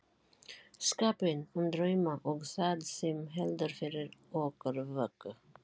skapinn, um drauma og það sem heldur fyrir okkur vöku.